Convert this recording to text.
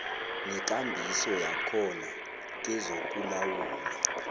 nekambiso yakhona kezokulawula